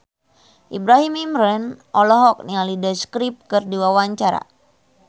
Ibrahim Imran olohok ningali The Script keur diwawancara